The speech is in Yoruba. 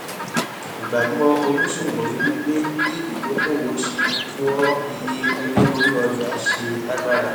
ìgbàgbọ oníṣòwò ni wípé bí ìdókòwò ṣe oọ iye owó orí ọjà ṣe lágbára